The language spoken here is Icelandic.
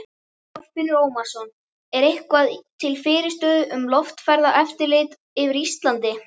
Þorfinnur Ómarsson: Er eitthvað til fyrirstöðu um loftferðaeftirlit yfir Íslandi?